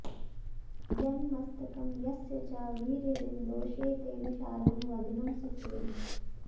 यन्मस्तकं यस्य च वीर्यबिन्दौ शेते विशालं गगनं सुखेन